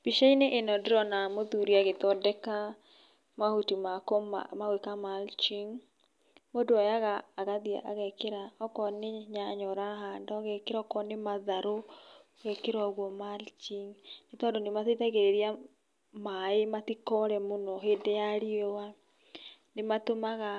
Mbica-inĩ ĩno ndĩrona mũthuri agĩthondeka mahuti ma gũĩka mulching. Mũndũ oyaga agathĩe agekĩra okorwo nĩ nyanya ũrahanda ũgekĩra okorwo nĩ matharũ, ũgekĩra ũguo mulching nĩtondũ nĩmateithagĩrĩria maĩ matikore mũno hĩndĩ ya riũa, nĩmatumaga